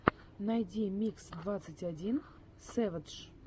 найди микс двадцать один сэвэдж